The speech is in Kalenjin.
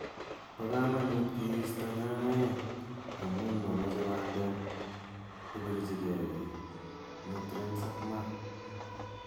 Bo kaamanut kiisto nyonyoek amun momoche bandek kobirchike beek, nutrients ak maat)